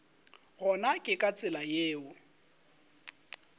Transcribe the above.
gona ke ka tsela yeo